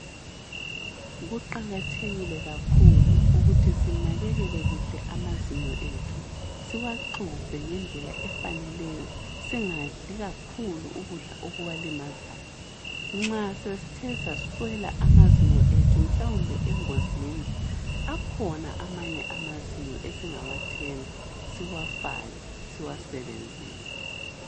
Kuqakathekile kakhulu ukuthi sinakekele amazinyo ethu, siwaxubhe ngendlela efaneleyo singadli kakhulu ukudla okuwalimazayo. Nxa sesithe saswela amazinyo ethu mhlawumbe engozini, akhona amanye amazinyo esingawathenga, siwafake siwasebenzise.